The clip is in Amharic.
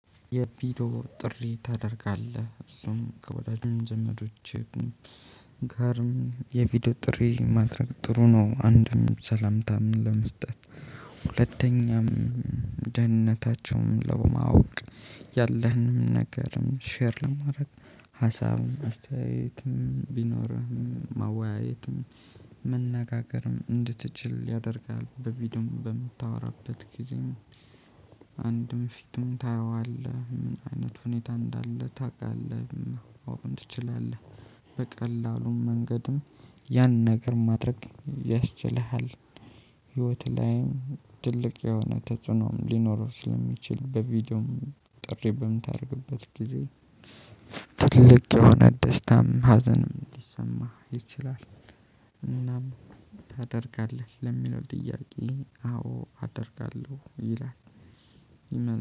የቪዲዮ ጥሪ ታደርጋለህ? እሱም ከወዳጅ ዘመዶችህ ጋርም የቪዲዮ ጥሪ ማድረግ ጥሩ ነው። አንድም ሰላምታ ምን ለመስጠት ሁለተኛም ደህንነታቸውን ለማወቅ ያለህንም ነገርም ሼር ለማድረግ ሀሳብም አስተያየትም ቢኖርህም ማወያየትም መነጋገርም እንድትችል ያደርጋል። በቪዲዮም በምታወራበት ጊዜ አንድም ፊቱን ታየዋለህ ምን አይነት ሁኔታ እንዳለ ታውቃለህ። አዎ ትችላለህ። በቀላሉም መንገድም ያን ነገር ማድረግ ያስችልሃል። ህይወትህ ላይም ትልቅ የሆነ ተጽዕኖም ሊኖር ስለሚችል በቪዲዮም ጥሪ በምታደርግበት ጊዜ። ትልቅ የሆነ ደስታም ሀዘንም ሊሰማህ ይችላል። እናም ታደርጋለህ ለሚለው ጥያቄ አዎ አደርጋለሁ ይላል።